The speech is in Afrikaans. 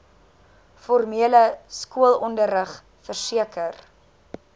formele skoolonderrig verseker